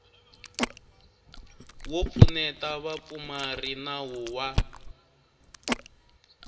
wo pfuneta vapfumari nawu wa